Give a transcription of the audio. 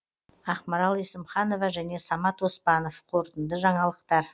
ақмарал есімханова және самат оспанов қорытынды жаңалықтар